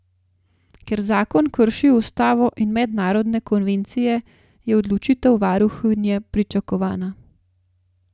Ker zakon krši ustavo in mednarodne konvencije, je odločitev varuhinje pričakovana.